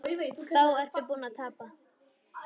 Þá ertu búinn að tapa.